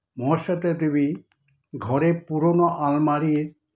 মহাশ্বেতা দেবী ঘরের পুরনো আলমারির